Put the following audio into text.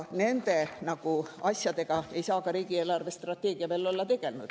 Nende asjadega ei saa ka riigi eelarvestrateegia veel olla tegelenud.